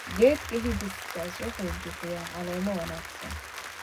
Geedka hibiscus wuxuu bixiya caleemo wanaagsan.